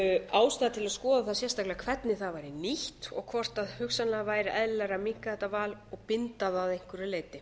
ástæða til að skoða það sérstaklega hvernig það væri nýtt og hvort hugsanlega væri eðlilegra að minnka þetta val og binda það að einhverju leyti